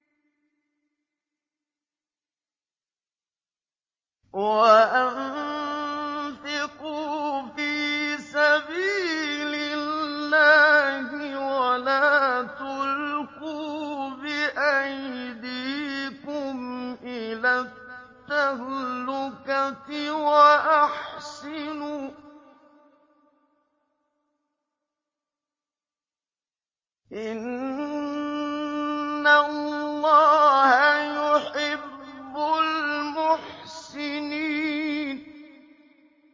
وَأَنفِقُوا فِي سَبِيلِ اللَّهِ وَلَا تُلْقُوا بِأَيْدِيكُمْ إِلَى التَّهْلُكَةِ ۛ وَأَحْسِنُوا ۛ إِنَّ اللَّهَ يُحِبُّ الْمُحْسِنِينَ